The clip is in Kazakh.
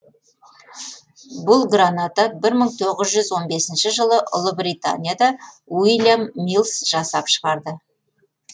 бұл граната бір мың тоғыз жүз он бесінші жылы ұлыбританияда ульям миллс жасап шығарды